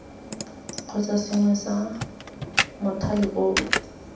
kgotsa sengwe sa mothale oo